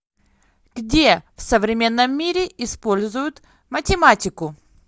где в современном мире используют математику